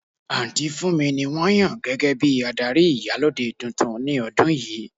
Aunty Funmi ni won yan gege bi adari Iyalode tuntun ni odun yii.